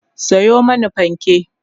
Sayo mani fanke!